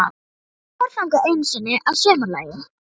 Ég fór þangað einu sinni að sumarlagi.